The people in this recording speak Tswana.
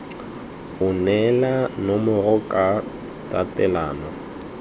o neele nomoro ka tatelano